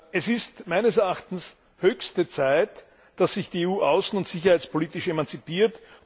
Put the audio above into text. Es ist meines Erachtens höchste Zeit, dass sich die EU außen und sicherheitspolitisch emanzipiert.